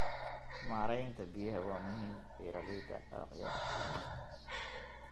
Maareynta biyaha waa muhiim beeraleyda dalagyada.